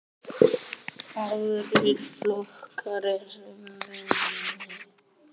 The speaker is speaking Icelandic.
Aðrir flokkar eru mun minni.